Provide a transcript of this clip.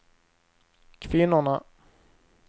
kvinnorna